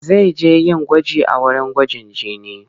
Zai je yin gwaji a wurin gwajin jini.